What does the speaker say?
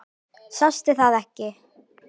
Sástu það ekki?